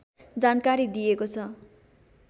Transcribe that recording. जानकारी दिएको छ